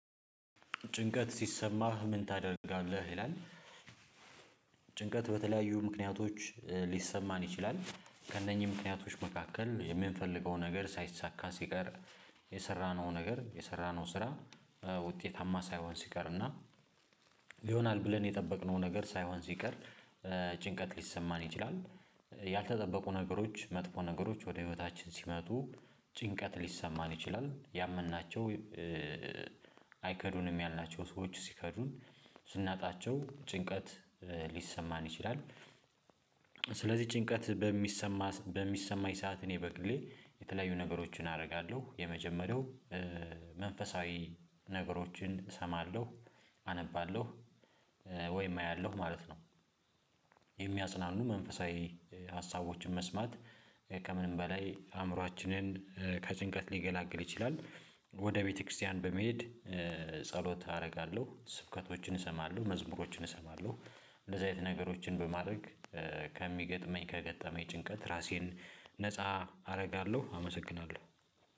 ጭንቀት ሲሰማህ ምን ታደርጋለህ ይላል? ጭንቀት በተለያዩ ምክንያቶች ሊሰማን ይችላል ከእነኚህ ምክንያቶች መካከል የምንፈልገው ነገር ሳይሳካ ሲቀር የሰራነው ነገር የሰራነው ስራ ውጤታማ ሳይሆን ሲቀርና ይሆናል ብለን የጠበቅነው ነገር ሳይሆን ሲቀር ጭንቀት ሊሰማን ይችላል። ያልተጠበቁ ነገሮች መጥፎ ነገሮች ወደ ህይወታችን ሲመጡ ጭንቀት ሊሰማን ይችላል። ያመንናቸው አይከዱንም ያልናቸው ሰዎች ሲከዱን ስናጣቸው ጭንቀት ሊሰማን ይችላል። ስለዚህ ጭንቀት በሚሰማ በሚሰማኝ ሰዓት እኔ በግሌ የተለያዩ ነገሮችን አደርጋለሁ የመጀመሪያው መንፈሳዊ ነገሮችን እሰማለሁ አነባለሁ ወይም አያለሁ ማለት ነው። የሚያጽናኑ መንፈሳዊ ሀሳቦችን መስማት ከምንም በላይ አእምሮአችንን ከጭንቀት ሊገላግል ይችላል። ወደ ቤተክርስቲያን በመሄድ ጸሎት አደርጋለሁ ስብከቶችን እሰማለሁ መዝሙሮችን እሰማለሁ እንደዚህ አይነት ነገሮችን በማድረግ ከሚገጥመኝ ከገጠመኝ ጭንቀት ራሴን ነፃ አደርጋለሁ። አመሰግናለሁ